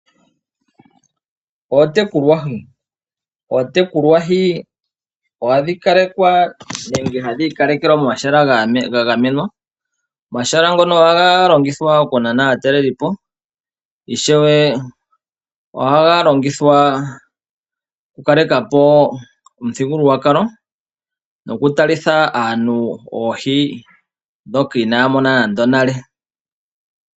Oontekulwa hi. Oontekulwa hi oha dhi kalekwa nenge ha dhi ikalekelwa momahala ga gamenwa. Omahala ngoka oha ga longithwa oku nana aataleliipo, ishewe oha ga longithwa oku kaleka po omuthigululwakalo noku talitha aantu oohi dhoka ina ya mona nale.